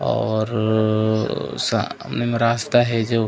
और अ सामने म रास्ता हे जो--